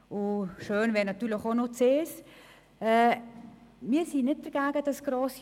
Schön wäre es natürlich, wenn das auch bei Punkt 1 der Fall wäre.